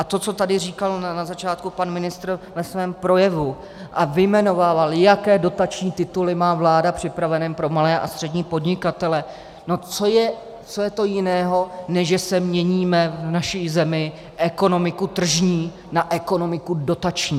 A to, co tady říkal na začátku pan ministr ve svém projevu, a vyjmenovával, jaké dotační tituly má vláda připraveny pro malé a střední podnikatele, no co je to jiného, než že měníme v naší zemi ekonomiku tržní na ekonomiku dotační.